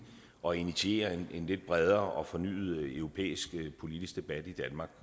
og initiere en lidt bredere og fornyet europæisk politisk debat i